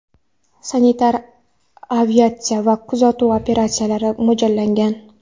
sanitar aviatsiyasi va kuzatuv operatsiyalariga mo‘ljallangan.